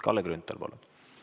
Kalle Grünthal, palun!